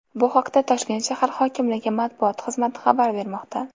Bu haqda Toshkent shahar hokimligi matbuot xizmati xabar bermoqda .